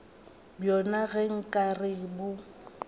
bjona ge nka re bo